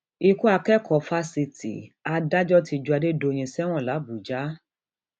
ikú akẹkọọ fásitì adájọ ti ju adédọyìn sẹwọn làbújá